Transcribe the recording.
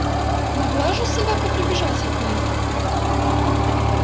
могла же собака прибежать от них